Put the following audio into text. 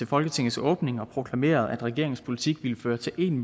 folketingets åbning og proklamerede at regeringens politik ville føre til en